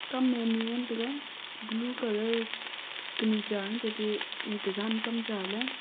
kam a ani ngan tega blue colour kanu cha ante te e jan kam cha le a.